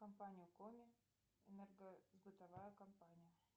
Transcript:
компания коми энергосбытовая компания